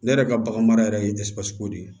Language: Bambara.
Ne yɛrɛ ka bagan mara yɛrɛ ye ko de ye